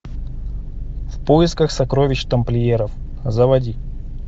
в поисках сокровищ тамплиеров заводи